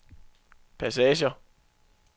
passager